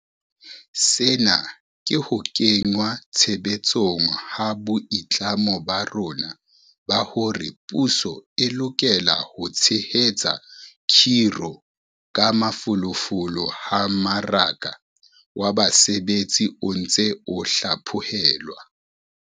Sena ke ho kenngwa tshebetsong ha boitlamo ba rona ba hore puso e lokela ho tshehetsa khiro ka mafolofolo ha mmaraka wa basebetsi o ntse o hla phohelwa.